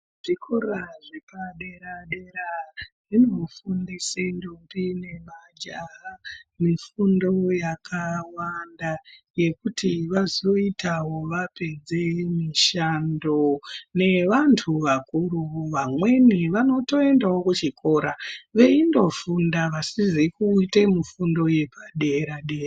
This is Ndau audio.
Zvikora zvapadera dera zvinofundise ndombi nemajaha mifundo yakawanda yekuti vazoitawo vapedze mishando nevantu vakuru vamweni vanotoendawo kuchikora veindofunda vasizi kuite mifundo yepadera.